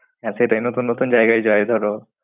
হ্যাঁ সেটাই নতুন নতুন জায়গায় যায় ধরো।